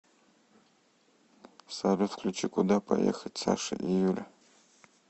салют включи куда поехать саша и юля